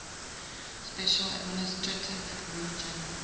special administrative regions